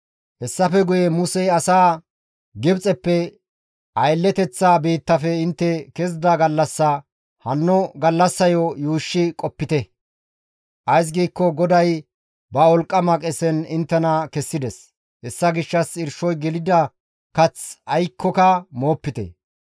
Hessafe guye Musey asaa, «Gibxeppe, aylleteththa biittafe intte kezida gallassaya hanno gallassayo gididayssa yuushshi qoppite; ays giikko GODAY ba wolqqama qesen inttena kessides; hessa gishshas irshoy gelida kath aykkoka moopite.